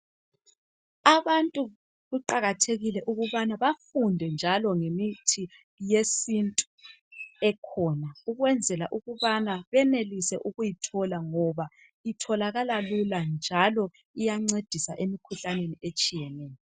Abantu kuqakathekile ukubana bafunde njalo ngemithi yesintu ekhona ukwenzela ukubana benelise ukuyithola ngoba itholakala lula njalo iyancedisa emkhuhlaneni etshiyeneyo.